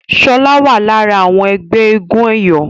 Shola wá lára àwọn ẹgbẹ́ éégun eyọ.